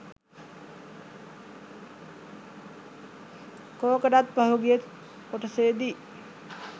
කෝකටත් පහුගිය කොටසෙදි